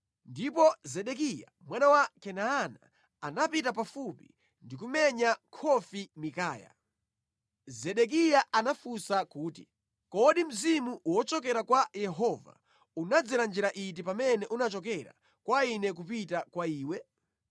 Ndipo Zedekiya mwana wa Kenaana anapita pafupi ndi kumenya khofi Mikaya. Zedekiya anafunsa kuti, “Kodi mzimu wochokera kwa Yehova unadzera njira iti pamene unachoka kwa ine kupita kwa iwe?”